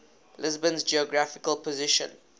lisbon's geographical position